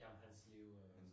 Ja om hans liv og